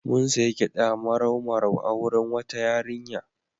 Mun sayi gyaɗa marau-marau a wurin wata yarinya.